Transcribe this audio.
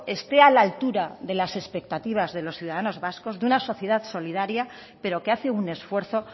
esté a la altura de las expectativas de los ciudadanos vascos de una sociedad solidaria pero que hace un esfuerzo